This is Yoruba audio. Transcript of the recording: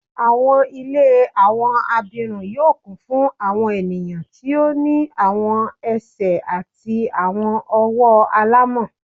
Awọn ile awọn abirun yoo kun fun awọn eniyan ti o ni awọn ẹsẹ ati awọn ọwọ alamọ